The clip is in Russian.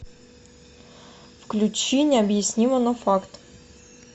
включи необъяснимо но факт